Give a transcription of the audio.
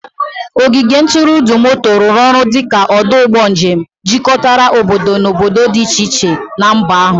Ogige ntụrụndụ moto rụrụ ọrụ dị ka ọdụ ụgbọ njem, jikọtara obodo na obodo dị iche iche na mba ahụ.